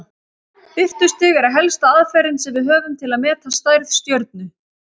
Birtustig er helsta aðferðin sem við höfum til að meta stærð stjörnu.